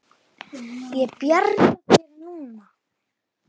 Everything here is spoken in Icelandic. Ég bjarga þér núna.